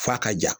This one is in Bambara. F'a ka ja